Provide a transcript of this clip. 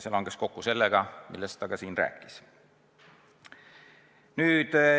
See langes kokku sellega, millest ta ka siin rääkis.